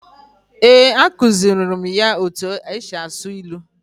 Eh, a kuziri mụ ya etu e si asụ ilu.